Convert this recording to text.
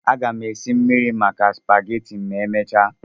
Aga m esi mmiri maka supageti ma emechaa.